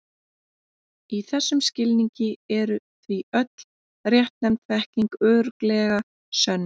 Í þessum skilningi er því öll réttnefnd þekking örugglega sönn.